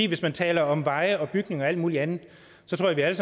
hvis man taler om veje og bygninger og alt mulig andet så tror jeg